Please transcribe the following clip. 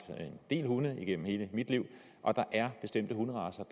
en del hunde gennem hele mit liv og der er bestemte hunderacer